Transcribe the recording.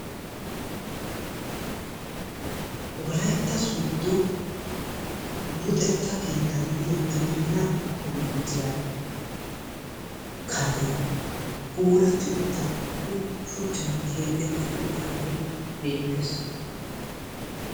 Wolaytta sooddo luxetta keetta gidiya gibirinnaa kolleejjiya karee puulatti uttabi sHuchchan keexetti uttaagee beettes.